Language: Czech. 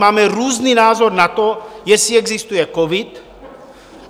Máme různý názor na to, jestli existuje covid.